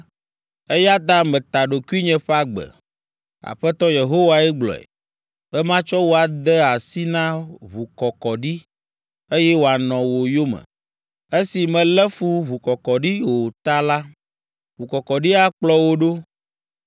eya ta meta ɖokuinye ƒe agbe, Aƒetɔ Yehowae gblɔe, be matsɔ wò ade asi na ʋukɔkɔɖi, eye wòanɔ wò yome. Esi mèlé fu ʋukɔkɔɖi o ta la, ʋukɔkɔɖi akplɔ wò ɖo.